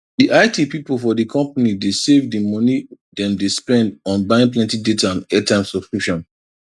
di it people for di company dey save di money dem dey spend on buying plenty data and airtime subscriptions